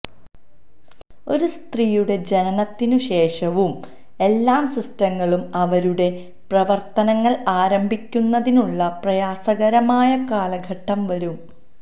ഒരു സ്ത്രീയുടെ ജനനത്തിനു ശേഷവും എല്ലാ സിസ്റ്റങ്ങളും അവരുടെ പ്രവർത്തനങ്ങൾ ആരംഭിക്കുന്നതിനുള്ള പ്രയാസകരമായ കാലഘട്ടം വരും